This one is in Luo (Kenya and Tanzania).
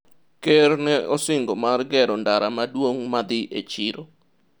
Ker ne osingo mar gero ndara maduong' madhi e chiro